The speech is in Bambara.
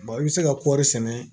i bɛ se ka kɔri sɛnɛ